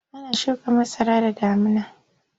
Ana shuka masara da damuna.